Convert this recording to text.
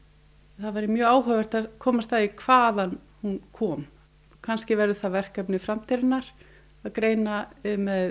það væri mjög áhugavert að komast að því hvaðan hún kom kannski verður það verkefni framtíðarinnar að greina með